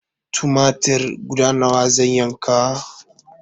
Tumatir guda nawa zan yanka?